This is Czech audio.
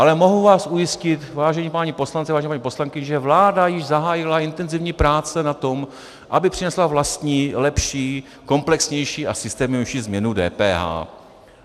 Ale mohu vás ujistit, vážení páni poslanci, vážené paní poslankyně, že vláda již zahájila intenzivní práce na tom, aby přinesla vlastní, lepší, komplexnější a systémovější změnu DPH.